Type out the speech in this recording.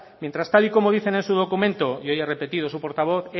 mientras tal y como dicen en su documento y hoy ha repetido su portavoz